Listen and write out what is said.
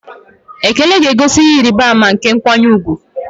Ekele ga-egosi ihe ịrịba ama nke nkwanye ùgwù.